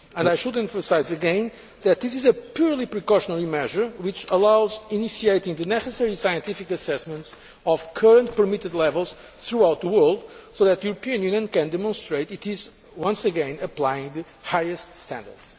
I should emphasise again that this is a purely precautionary measure, which allows initiating the necessary scientific assessments of current permitted levels throughout the world, so that the European Union can demonstrate it is once again applying the highest standards.